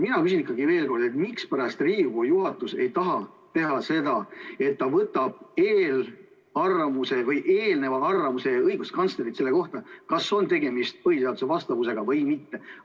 Mina küsin ikkagi veel kord, mispärast Riigikogu juhatus ei taha võtta eelnevat arvamust õiguskantslerilt selle kohta, kas on tegemist põhiseadusele vastava eelnõuga või mitte.